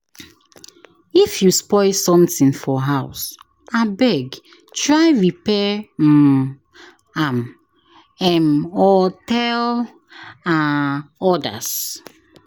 If you spoil something for house, abeg try repair um am um or tell um others.